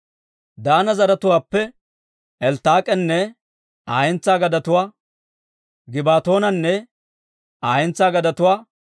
Daana zaratuwaappe Elttaak'enne Aa hentsaa gadetuwaa, Gibbatoonanne Aa hentsaa gadetuwaa,